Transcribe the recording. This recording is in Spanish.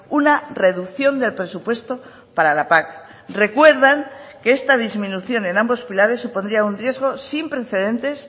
una reducción del presupuesto para la pac recuerdan que esta disminución en ambos pilares supondría un riesgo sin precedentes